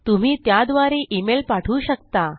तुम्ही त्याद्वारे इमेल पाठवू शकता